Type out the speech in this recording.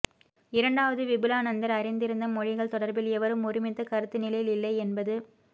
இரண்டாவது விபுலாநந்தர் அறிந்திருந்த மொழிகள் தொடர்பில் எவரும் ஒருமித்த கருத்துநிலையில் இல்லைஎன்பது